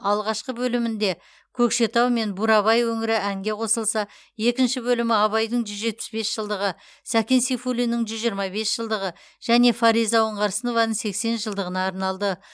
алғашқы бөлімінде көкшетау мен бурабай өңірі әңге қосылса екінші бөлімі абайдың жүз жетпіс бес жылдығы сәкен сейфуллиннің жүз жиырма бес жылдығы және фариза оңғарсынованың сексен жылдығына арналды